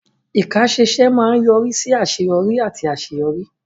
Ìkáṣẹ́ṣe máa ń yọrí sí àṣeyọrí àti àṣeyọrí.